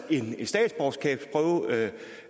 det